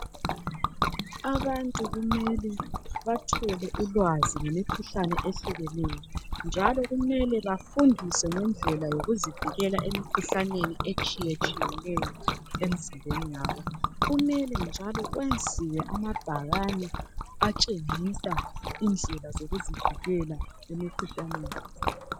Abantu kumele ulwazi ngemikhuhlane etshiyeneyo njalo Kumele bafundiswe ngendlela yokuzivikela emkhuhlaneni etshiyeneyo emzimbeni yabo. Kumele njalo kwenziwe amabhakane atshengisa indlela zokuzivikela emkhuhlaneni.